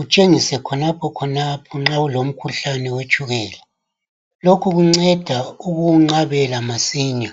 utshengise khonapha khonapho nxa ulomkhuhlane wetshukela. Lokhu kunceda ukuwunqabela masinya.